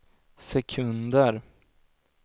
sekunder